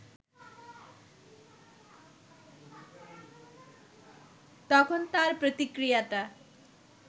তখন তার প্রতিক্রিয়াটা